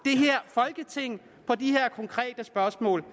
folketing på de her konkrete spørgsmål